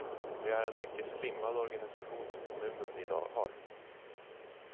Det är en mycket slimmad organisation som kommunen i dag har.